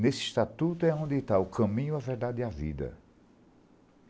Nesse estatuto é onde está o caminho, a verdade e a vida.